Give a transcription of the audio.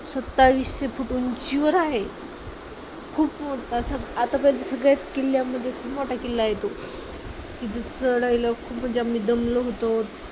सत्तावीसशे foot उंचीवर आहे. खूप मोठा आता तर सगळ्या किल्ल्यामध्ये खूप मोठा किल्ला आहे तो, तिथे चढायला खूप म्हणजे आम्ही दमलो होतो.